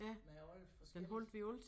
Med alle forskelligt